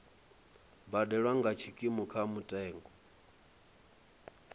badelwa nga tshikimu kha mutengo